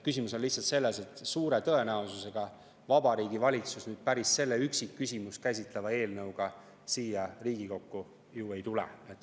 Küsimus on lihtsalt selles, et suure tõenäosusega Vabariigi Valitsus päris selle üksikküsimust käsitleva eelnõuga siia Riigikokku ei tule.